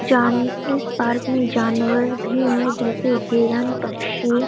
जान इस पार्क मे जानवर भी है जैसे हिरन पक्षी--